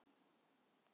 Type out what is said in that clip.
Guðbergur